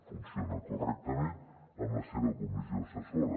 funciona correctament amb la seva comissió assessora